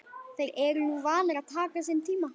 Þeir eru nú vanir að taka sinn tíma.